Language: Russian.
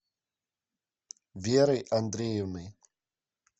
верой андреевной